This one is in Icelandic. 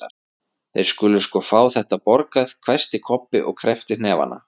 Þeir skulu sko fá þetta borgað, hvæsti Kobbi og kreppti hnefana.